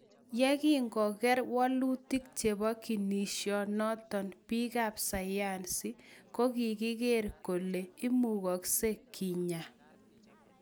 yegingoger walutik chepo ginision notok, piik ap sayansi kogiger kole imugaksei kinya